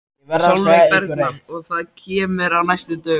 Sólveig Bergmann: Og það kemur á næstu dögum?